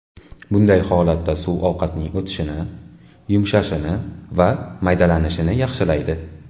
Bunday holatda suv ovqatning o‘tishini, yumshashini va maydalanishini yaxshilaydi.